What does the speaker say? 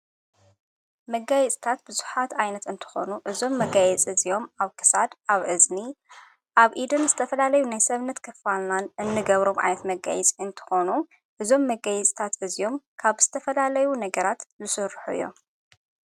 መጋይጽታት ብዙኃት ኣይነት እንተኾኑ እዞም መጋየፅ እዚኦም ኣብ ከሳድ፣ ኣብ እዝኒ፣ ኣብ ኢድን ዝተፈላለዩ ናይ ሰብነት ከፋልላን እንገብሮም ኣይት መጋይጽ እንተኾኑ ፤እዞም መጋይጽታት በዝኦም ካብ ስተፈላለዩ ነገራት ዝሱርሑ እዮም።